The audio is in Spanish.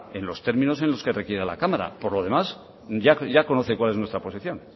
en los términos en los que requiera la cámara por lo demás ya conoce cuál es nuestra posición